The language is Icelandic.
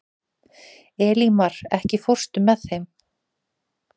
Elímar, ekki fórstu með þeim?